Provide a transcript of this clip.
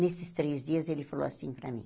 Nesses três dias ele falou assim para mim.